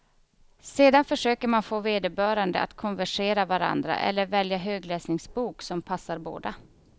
Sedan försöker man få vederbörande att konversera varandra eller välja högläsningsbok som passar båda.